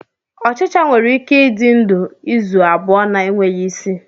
Ochicha nwere ike ịdị ndụ izu abụọ na-enweghị isi.